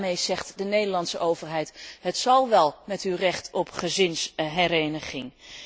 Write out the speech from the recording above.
Daarmee zegt de Nederlandse overheid het zal wel, met uw recht op gezinshereniging.